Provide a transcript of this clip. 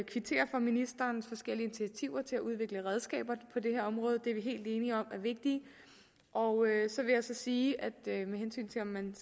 for ministerens forskellige initiativer til at udvikle redskaber på det her område det er vi helt enige om er vigtigt og så vil jeg sige med hensyn til om man